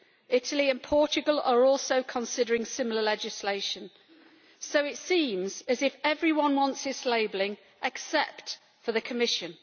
Italy and Portugal are also considering similar legislation. So it seems as if everyone wants this labelling except for the Commission.